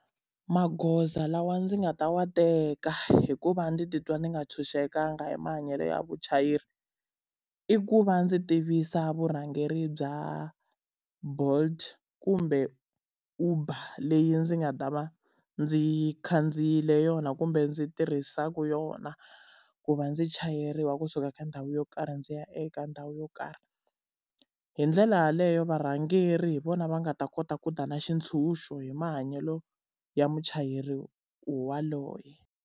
Magoza lawa ndzi nga ta wa teka hikuva ndzi titwa ndzi nga ntshunxekanga hi mahanyelo ya vuchayeri, i ku va ndzi tivisa vurhangeri bya Bolt kumbe Uber leyi ndzi nga ta va ndzi khandziyile yona kumbe ndzi tirhisaka yona ku va ndzi chayeriwa kusuka ka ndhawu yo karhi ndzi ya eka ndhawu yo karhi. Hi ndlela yaleyo varhangeri hi vona va nga ta kota ku da na xitshunxo hi mahanyelo ya muchayeri yaloye.